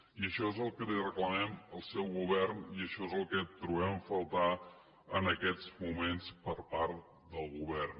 i això és el que li reclamem al seu govern i això és el que trobem a faltar en aquests moments per part del govern